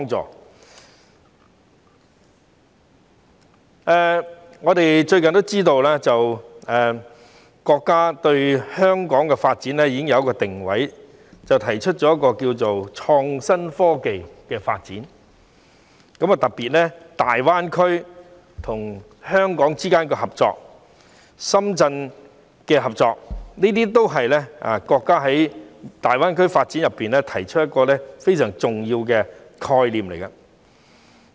最近，我們都知道國家對香港的發展已經有一個定位，提出了一項名為創新科技的發展計劃，特別是加強香港與深圳、與大灣區之間的合作，這都是國家就大灣區發展中提出的一個非常重要的概念。